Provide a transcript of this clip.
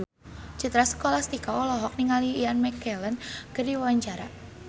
Citra Scholastika olohok ningali Ian McKellen keur diwawancara